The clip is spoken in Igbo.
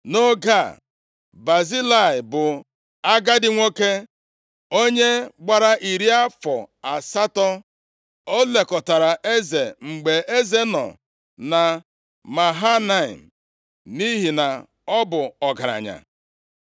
Nʼoge a, Bazilai bụ agadi nwoke, onye gbara iri afọ asatọ. Ọ lekọtara eze mgbe eze nọ na Mahanaim, nʼihi na ọ bụ ọgaranya.